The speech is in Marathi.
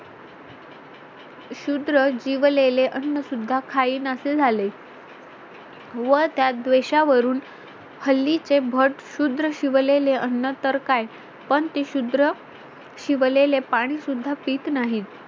शूद्र जीवलेले अन्न सुद्धा खाईनासे झाले व त्या द्वेषा वरून हल्ली चे भट शूद्र शिवलेले अन्न तर काय पण ते शुद्र शिवलेले पाणी सुद्धा पीत नाहीत